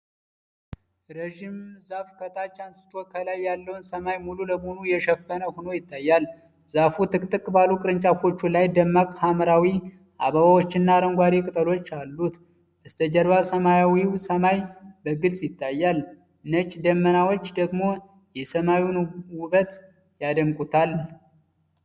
ረጅም ዛፍ ከታች አንስቶ ከላይ ያለውን ሰማይ ሙሉ በሙሉ የሸፈነ ሆኖ ይታያል። ዛፉ ጥቅጥቅ ባሉ ቅርንጫፎቹ ላይ ደማቅ ሐምራዊ አበባዎችና አረንጓዴ ቅጠሎች አሉት። በስተጀርባ ሰማያዊው ሰማይ በግልፅ ይታያል፤ ነጭ ደመናዎች ደግሞ የሰማዩን ውበት ያደምቁታል።